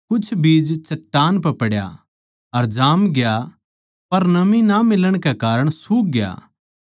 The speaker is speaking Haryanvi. कुछ बीज चट्टान पै पड्या अर जामग्या पर नमी ना मिलण कै कारण सूख ग्या